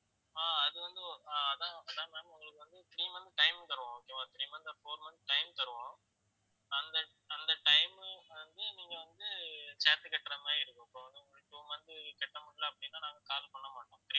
ஆஹ் அது வந்து ஆஹ் ஓ~ அதான் ma'am அதான் ma'am உங்களுக்கு வந்து three months time தருவோம் okay வா three months or four months time தருவோம் அந்த அந்த time வந்து நீங்க வந்து காசு கட்டற மாதிரி இருக்கும் இப்போ வந்து உங்களுக்கு two month கட்டமுடியலை அப்படின்னா நாங்க call பண்ண மாட்டோம்